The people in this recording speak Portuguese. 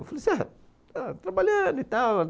Eu falei assim, ela trabalhando e tal